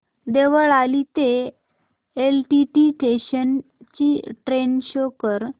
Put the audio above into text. देवळाली ते LTT station ची train show कर